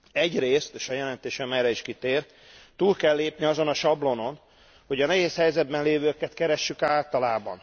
Egyrészt, és a jelentésem erre is kitér, túl kell lépni azon a sablonon, hogy a nehéz helyzetben lévőket keressük általában.